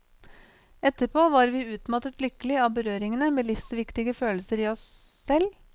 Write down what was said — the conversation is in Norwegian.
Etterpå var vi utmattet lykkelig av berøringene med livsviktige følelser i oss selv.